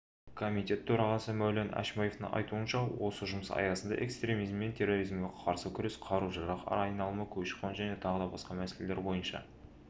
комитет төрағасы мәулен әшімбаевтың айтуынша осы жұмыс аясында экстремизм мен терроризмге қарсы күрес қару-жарақ айналымы көші-қон және тағы басқа мәселелер бойынша